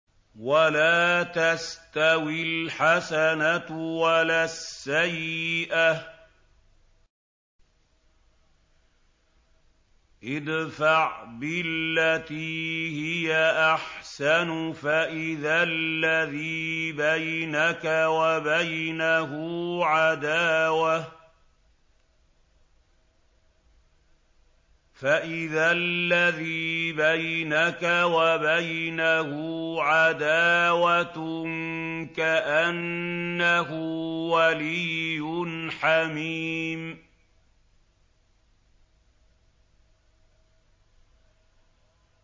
وَلَا تَسْتَوِي الْحَسَنَةُ وَلَا السَّيِّئَةُ ۚ ادْفَعْ بِالَّتِي هِيَ أَحْسَنُ فَإِذَا الَّذِي بَيْنَكَ وَبَيْنَهُ عَدَاوَةٌ كَأَنَّهُ وَلِيٌّ حَمِيمٌ